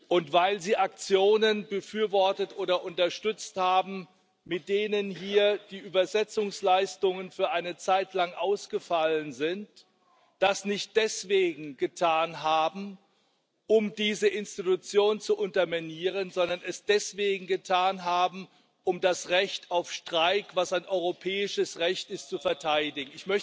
und weil sie Aktionen befürwortet oder unterstützt haben, mit denen hier die Dolmetschleistungen für eine Zeit lang ausgefallen sind, das nicht deswegen getan haben, um diese Institution zu unterminieren, sondern es deswegen getan haben, um das Recht auf Streik, was ein europäisches Recht ist, zu verteidigen.